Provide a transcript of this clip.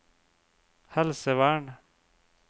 helsevern